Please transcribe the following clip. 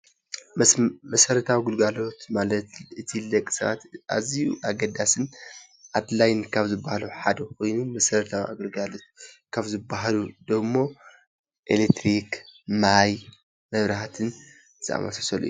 መሰረታዊ ግልጋሎት ማለት እቲ ንደቂ ሰባት ኣዝዩ ኣገዳስን ኣድላይ ካብ ዝብሃሉ ሓደ ኮይኑ መሰረተዊ ኣግልግሎት ካብ ዝብሃሉ ደሞ ኤሌክትሪክ ፣ማይ ፣መብራህቲ ዝኣምሳሰሉ እዮም፡፡